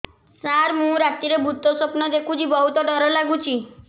ସାର ମୁ ରାତିରେ ଭୁତ ସ୍ୱପ୍ନ ଦେଖୁଚି ବହୁତ ଡର ଲାଗୁଚି